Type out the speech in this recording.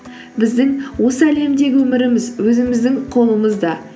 біздің осы әлемдегі өміріміз өзіміздің қолымызда